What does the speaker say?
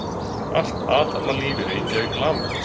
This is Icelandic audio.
allt athafnalíf í reykjavík lamaðist